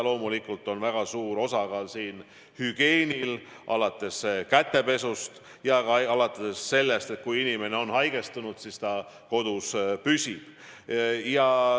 Loomulikult on väga suur osa hügieenil, alates kätepesust ja ka alates sellest, et kui inimene on haigestunud, siis ta püsib kodus.